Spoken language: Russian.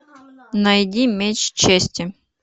найди меч чести